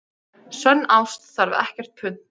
Sönn ást þarf ekkert punt.